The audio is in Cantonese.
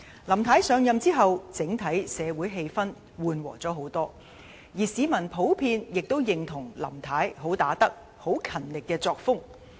林太上任之後，總體社會氣氛緩和了不少，而市民普遍亦認同林太"很打得"、很勤力的作風。